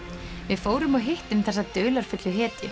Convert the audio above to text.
við fórum og hittum þessa dularfullu hetju